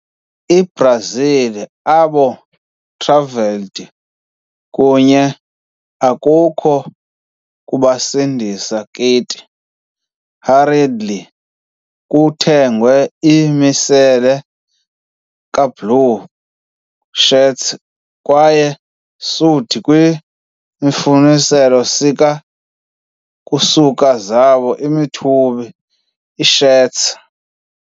I-Brazil, abo travelled kunye akukho kubasindisa kit, hurriedly ukuthengwa a misela ka-blue shirts kwaye sewed kwi imifuziselo sika ukusuka zabo imithubi iishirts.